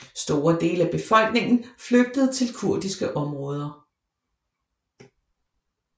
Store dele af befolkningen flygtede til kurdiske områder